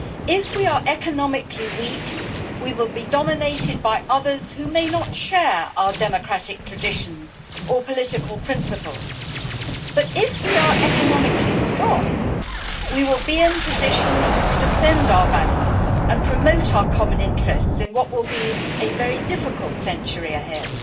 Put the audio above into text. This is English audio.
If we are economically weak, we will be dominated by others who may not share our democratic traditions or political principles, but if we are economically strong, we will be in a position to defend our values and promote our common interests in what will be a very difficult century ahead.